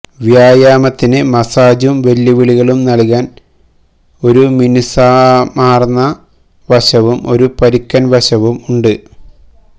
വ്യായാമത്തിന് മസാജും വെല്ലുവിളികളും നൽകാൻ ഒരു മിനുസമാർന്ന വശവും ഒരു പരുക്കൻ വശവും ഉണ്ട്